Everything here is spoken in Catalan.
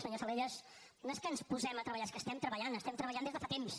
senyor salellas no és que ens posem a treballar és que estem treballant estem treballant des de fa temps